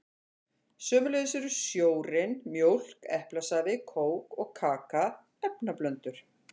Sömuleiðis eru sjórinn, mjólk, eplasafi, kók og kaka efnablöndur.